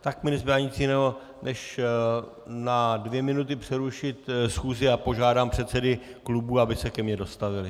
Tak mi nezbývá nic jiného, než na dvě minuty přerušit schůzi, a požádám předsedy klubů, aby se ke mně dostavili.